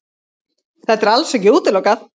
Þetta er alls ekki útilokað